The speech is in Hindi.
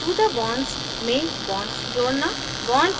मौजूदा bonds में bonds जोड़ना